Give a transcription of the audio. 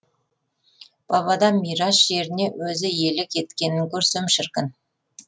бабадан мирас жеріне өзі иелік еткенін көрсем шіркін